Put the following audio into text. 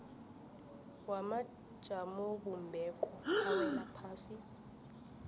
wamajamobumbeko awela ngaphasi